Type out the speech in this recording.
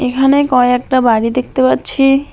এখানে কয়েকটা বাড়ি দেখতে পাচ্ছি।